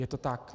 Je to tak.